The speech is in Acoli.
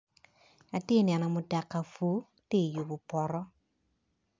Atye neno mutoka pur tye yubo poto.